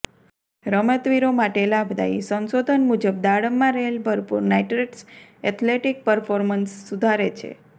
રમતવીરો માટે લાભદાયીઃ સંશોધન મુજબ દાડમમાં રહેલ ભરપૂર નાઇટ્રેટ્સ એથ્લેટિક પરફોર્મન્સ સુધારે છે